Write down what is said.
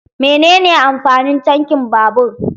Menene amfanin tankin babur?